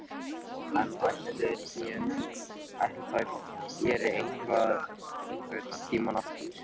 En ætli þær geri þetta einhvern tímann aftur?